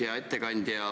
Hea ettekandja!